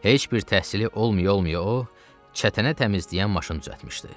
Heç bir təhsili olmaya-olmaya o, çətənə təmizləyən maşın düzəltmişdi.